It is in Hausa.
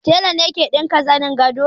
Tela ne ke ɗinka zanin gado